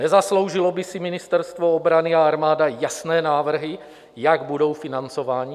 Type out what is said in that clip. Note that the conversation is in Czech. Nezasloužilo by si Ministerstvo obrany a armáda jasné návrhy, jak budou financovány?